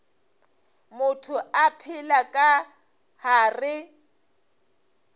motho o phela ka gare